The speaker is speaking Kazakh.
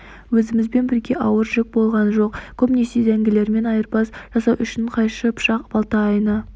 өзімізбен бірге ауыр жүк болған жоқ көбінесе зәңгілермен айырбас жасау үшін қайшы пышақ балта айна